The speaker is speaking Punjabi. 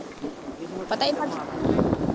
ਇਹਨੂੰ